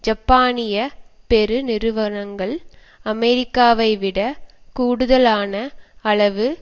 ஜப்பானியப் பெரு நிறுவனங்கள் அமெரிக்காவைவிடக் கூடுதலான அளவு